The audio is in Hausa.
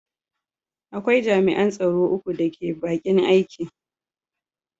Akwai jami’an tsaro uku da ke bakin aiki.